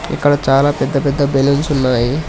ఇక్కడ చాలా పెద్ద పెద్ద బెలూన్స్ ఉన్నాయి.